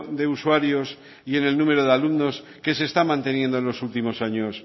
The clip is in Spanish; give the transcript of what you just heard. de usuarios y en el número de alumnos que se está manteniendo en los últimos años